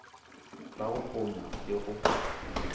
la go ponya le go